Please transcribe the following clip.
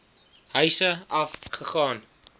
huise af gegaan